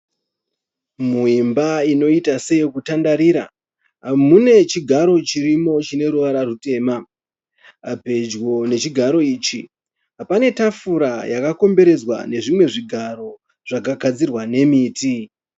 Muimba inoita seyokutandarira. Mune chigaro chirimo chine ruwara rutema. Pedyo nechigaro ichi pane tafura yakakomberedzwa nezvimwe zvigaro zvakagadzirwa nemiti.